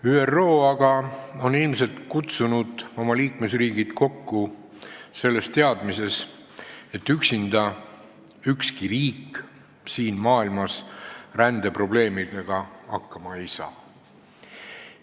ÜRO on ilmselt kutsunud oma liikmesriigid kokku selles teadmises, et ükski riik siin maailmas rändeprobleemidega üksinda hakkama ei saa.